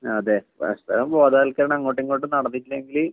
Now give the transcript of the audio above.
അതെ പരസ്പരം ബോധവൽക്കരണം അങ്ങോട്ടുമിങ്ങോട്ടും നടന്നിട്ടില്ലെങ്കില്